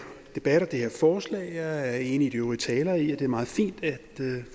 debat og det her forslag jeg er enig med de øvrige talere i at det er meget fint at